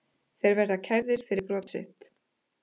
Þeir verða kærðir fyrir brot sitt